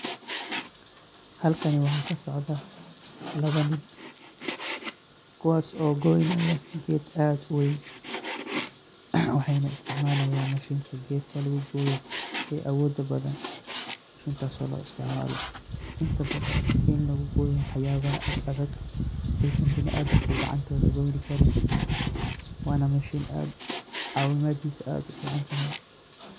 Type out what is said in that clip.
Halkaani waxa kasocdaa lawaa niin kuwwas oo goynaaya geed aad uweyn waxeynaa isticmalayaan mashiinta geedka laguu goyoo ee awodaa badaan mashiintas oo loo isticmaalo intaa badaan iin laguu goyoo waxyabaaha aad adaag eysaan binaadamka gacantoda goynii kariin. wanaa mashiin aad cawinadiisa aad uu ficaan tahay.